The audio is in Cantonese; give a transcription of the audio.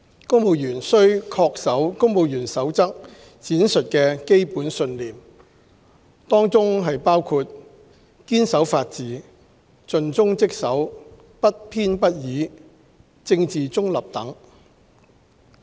公務員須恪守《公務員守則》闡述的基本信念，當中包括堅守法治、盡忠職守、不偏不倚、政治中立等。